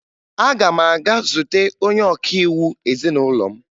Aga m aga zute onye ọkaiwu ezinụlọ m